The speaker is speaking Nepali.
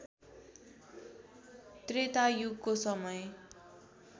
त्रेता युगको समय